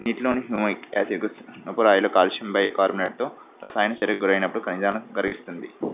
నీటిలోని calcium carbonate తో రసాయనక చర్యకి గురైనప్పుడు ఖనిజాలను కరిగిస్తుంది.